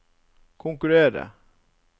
konkurrere